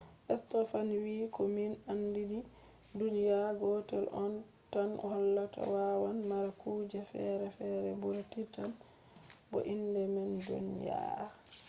stofan wii ko min andi ni duniya gotel on tan hollata wawan mara kujeji ferefere ɓura titan bo inde man duniya earth